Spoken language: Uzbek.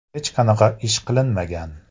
Hech qanaqa ish qilinmagan.